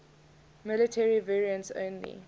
military variants only